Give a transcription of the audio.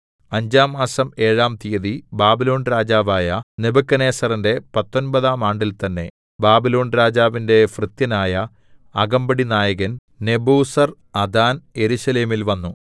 അഞ്ചാം മാസം ഏഴാം തിയ്യതി ബാബിലോൺ രാജാവായ നെബൂഖദ്നേസറിന്റെ പത്തൊമ്പതാം ആണ്ടിൽ തന്നേ ബാബിലോൺരാജാവിന്റെ ഭൃത്യനായ അകമ്പടി നായകൻ നെബൂസർഅദാൻ യെരൂശലേമിൽ വന്നു